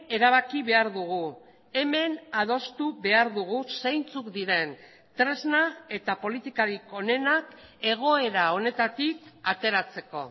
erabaki behar dugu hemen adostu behar dugu zeintzuk diren tresna eta politikarik onenak egoera honetatik ateratzeko